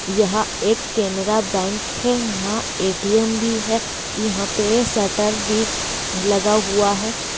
यहाँ एक कैनरा बैंक है यहाँ ए.टी.एम. भी है यहाँ पे शटर भी लगा हुआ है।